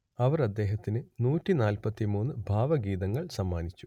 അവർ അദ്ദേഹത്തിന് നൂറ്റി നാല്പത്തി മൂന്ന് ഭാവഗീതങ്ങൾ സമ്മാനിച്ചു